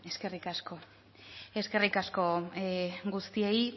eskerrik asko eskerrik asko guztiei